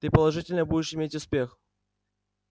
ты положительно будешь иметь успех